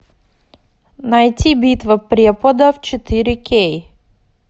найти битва преподов четыре кей